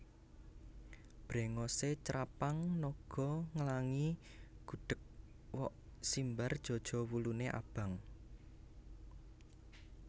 Brengose crapang naga nglangi gudheg wok simbar jaja wulune abang